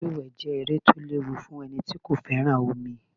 Lúlùwé jẹẹ́ eré to léwu fun eni tí kò féràn omi